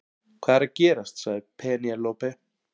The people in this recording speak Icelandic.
Hvað er að gerast sagði Penélope.